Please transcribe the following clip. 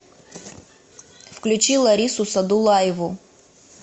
включи ларису садулаеву